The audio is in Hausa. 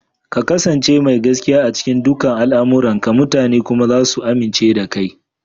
Ka ƙasance mai gaskiya a cikin dukan al'amuranka, mutane kuma za su amince da kai.